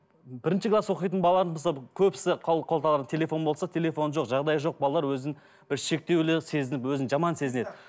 бірінші класс оқитын балалар мысалы көбісі қолданар телефон болса телефоны жоқ жағдайы жоқ балалар өзін бір шектеулі сезініп өзін жаман сезінеді